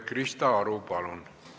Krista Aru, palun!